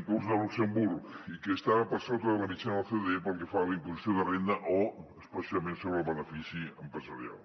inclús de luxemburg i que estava per sota de la mitjana de l’ocde pel que fa a la imposició de renda o especialment sobre el benefici empresarial